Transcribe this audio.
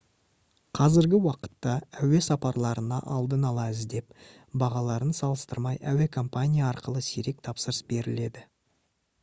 қазіргі уақытта әуе сапарларына алдын ала іздеп бағаларын салыстырмай әуекомпания арқылы сирек тапсырыс беріледі